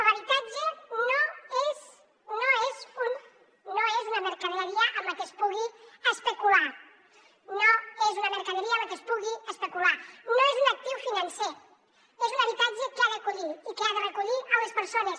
l’habitatge no és no és una mercaderia amb la que es pugui especular no és una mercaderia amb la que es pugui especular no és un actiu financer és un habitatge que ha d’acollir i que ha de recollir les persones